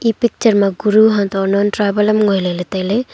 e picture ma guru hatoh non tribal ngoi ley tai ley.